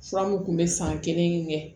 Fura mun kun bɛ san kelen kɛ